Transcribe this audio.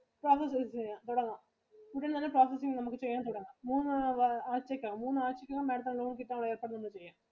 അപ്പൊ അത് ചെയ്യാം തുടങ്ങാം നമുക്ക് നല്ല positive നമുക്ക് ചെയ്യാൻ തുടങ്ങാം. മൂന്ന് ആഴ്ചയ്ക്കു അകം, മൂന്ന് ആഴ്ചയ്ക്കു അകം Madam ത്തിനു loan കിട്ടാനുള്ള ഏർപ്പാടുകളൊക്കെ ചെയ്യാം.